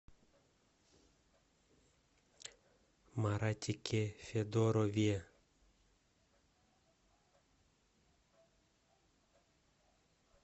маратике федорове